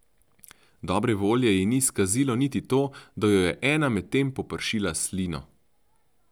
Dobre volje ji ni skazilo niti to, da jo je ena med tem popršila s slino.